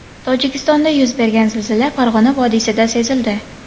Tojikistonda yuz bergan zilzila Farg‘ona vodiysida sezildi.